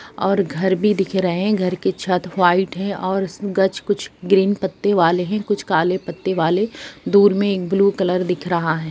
और घर भी दिख रहे है घर की छत व्हाइट है और गच्छ कुछ ग्रीन पत्ते वाले है कुछ काले पत्ते वाले दूर मे एक ब्लू कलर दिख रहा हैं।